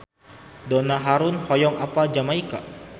Donna Harun hoyong apal Jamaika